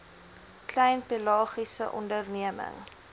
klein pelagiese onderneming